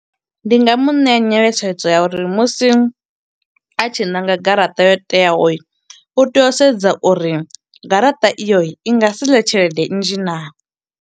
Ndi nga mu ṋea nyeletshedzo ya uri musi a tshi nanga garaṱa yo teaho, u tea u sedza uri garaṱa iyo i nga si ḽe tshelede nnzhi naa.